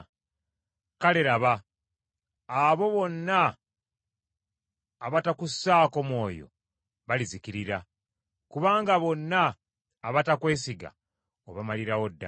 Kale laba, abo bonna abatakussaako mwoyo balizikirira; kubanga bonna abatakwesiga obamalirawo ddala.